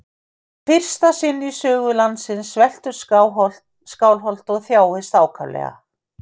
Í fyrsta sinn í sögu landsins sveltur Skálholt og þjáist ákaflega.